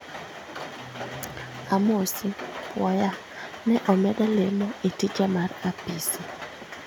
Amosi ?Puoya, ne omeda lemo e tija mar apisi